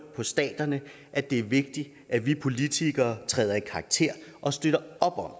på staterne at det er vigtigt at vi politikere træder i karakter og støtter op om